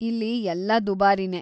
ಇಲ್ಲಿ ಎಲ್ಲ ದುಬಾರಿನೇ.